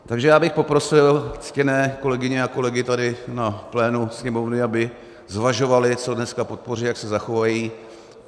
Takže já bych poprosil ctěné kolegyně a kolegy tady na plénu Sněmovny, aby zvažovali, co dneska podpoří, jak se zachovají.